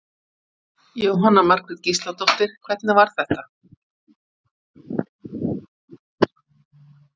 Jóhanna Margrét Gísladóttir: Hvernig var þetta?